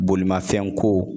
Bolimafɛnko